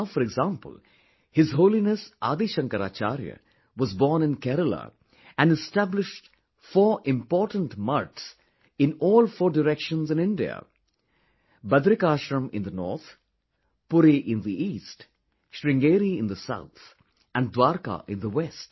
Now, for example His Holiness Adi Shankaracharya was born in Kerala and established four important mathas in all four directions of India... Badrikashram in the North, Puri in the East, Sringeri in the South and Dwarka in the West